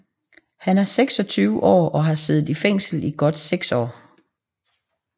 Han er 26 år og har siddet i fængsel i godt seks år